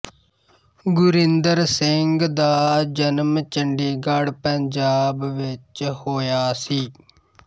ਗੁਰਿੰਦਰ ਸਿੰਘ ਦਾ ਜਨਮ ਚੰਡੀਗੜ੍ਹ ਪੰਜਾਬ ਵਿੱਚ ਹੋਇਆ ਸੀ